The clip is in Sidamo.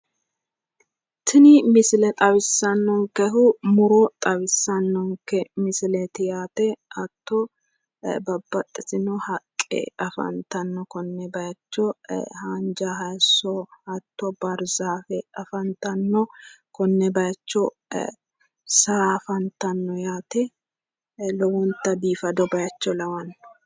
Tini misile xawissannonkehu muro xawissannonke misileeti yaate. hatto babbaxxitino haqqe afantanno konne bayiicho haanja haayiso, hatto baahirzaafe afantanno, konne bayiicho saa afantanno yaate lowonta biifado bayiicho biifado lawanno.